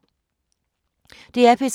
DR P3